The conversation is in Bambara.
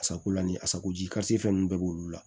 Asakolan ni asako ji kasi ninnu bɛɛ b'olu la